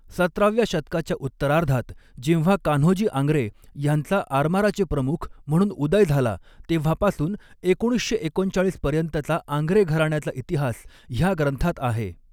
सतराव्या शतकाच्या उत्तरार्धात जेव्हा कान्होजी आंग्रे ह्यांचा आरमाराचे प्रमुख म्हणून उदय झाला तेव्हा पासून एकोणीसशे एकोणचाळीस पर्यंतचा आंग्रे घराण्याचा इतिहास ह्या ग्रंथात आहे.